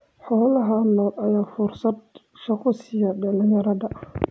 Xoolaha nool ayaa fursad shaqo siiya dhalinyarada.